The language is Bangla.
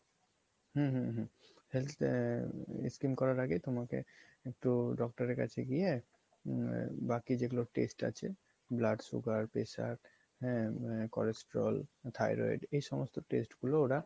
হুম হুম হুম health scheme করার আগেই তোমাকে একটু doctor এর কাছে গিয়ে বাকি যেগুলো test আছে blood sugar, pressure হ্যাঁ cholesterol, thyroid এই সমস্ত test গুলো ওরা